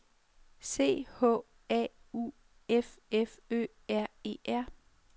C H A U F F Ø R E R